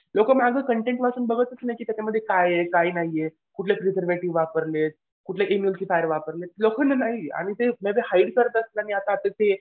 लोकं मागं कंटेन वाचून बघतच नाही की त्याच्यामध्ये काय आहे काय नाहीये. कुठले वापरलेत. कुठले वापरलेत लोखंड नाही. आणि हाईड करतात आता ते